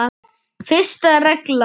Fyrsta reglan.